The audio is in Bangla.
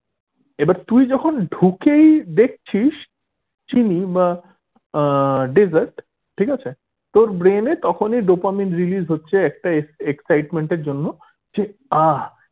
এবার যখন তুই ঢুকেই দেখছিস চিনি বা আহ desert ঠিক আছে তোর brain এ তখনি dopamine release হচ্ছে একটা excitement এর জন্য যে আহ